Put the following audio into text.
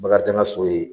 Bakarijan ka so ye